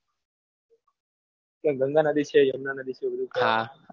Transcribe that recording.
ત્યાં ગંગા નદી છે એમાં યમુના નદી છે બધું